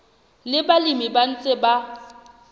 le balemi ba ntseng ba